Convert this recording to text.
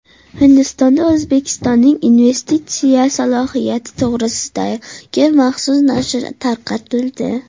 Hindistonda O‘zbekistonning investitsiya salohiyati to‘g‘risidagi maxsus nashr tarqatildi.